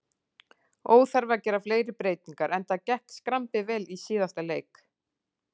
Óþarfi að gera fleiri breytingar enda gekk skrambi vel í síðasta leik.